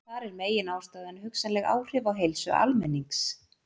Þar er meginástæðan hugsanleg áhrif á heilsu almennings.